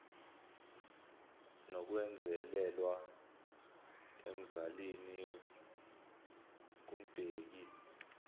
nokwenzelelwa emzalini kumbheki